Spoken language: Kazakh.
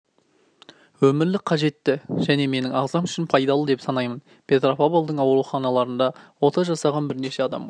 өмірлік қажетті және менің ағзам үшн пайдалы деп санаймын петропавлдың ауруханаларында ота жасаған бірнеше адамға